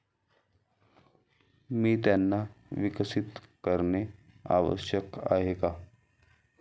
मी त्यांना विकसित करणे आवश्यक आहे का?